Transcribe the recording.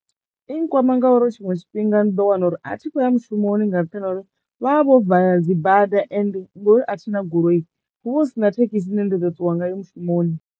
I nkwama ngauri tshiṅwe tshifhinga ni ḓo wana uri a thi khoya mushumoni nga nṱhani ha uri vha vho vala dzibada ende ngori a thina goloi hu vha hu si na thekhisi dzine ndi ḓo ṱuwa ngayo mushumoni.